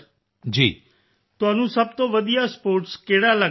ਅਮਲਾਨ ਤੁਹਾਨੂੰ ਸਭ ਤੋਂ ਵਧੀਆ ਸਪੋਰਟਸ ਕਿਹੜਾ ਲਗਦਾ ਹੈ ਸਰ